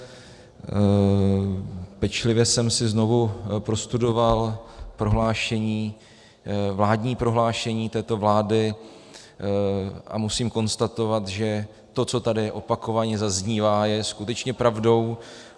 Pečlivě jsem si znovu prostudoval vládní prohlášení této vlády a musím konstatovat, že to, co tady opakovaně zaznívá, je skutečně pravdou.